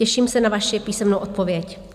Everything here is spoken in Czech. Těším se na vaši písemnou odpověď.